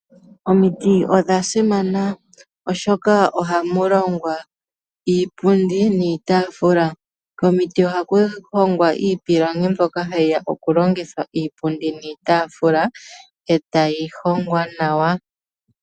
Omiti odha simana oshoka, ohamu longwa iipundi niitaafula. Komiti oha ku hongwa iipilangi mbyoka hayi ya okulongithwa iipundi niitafula, etayi hongwa nawa.